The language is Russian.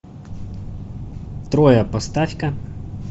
троя поставь ка